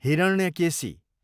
Hiranyakeshi